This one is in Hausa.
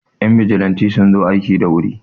Yan bijilanti suna zo aiki da wuri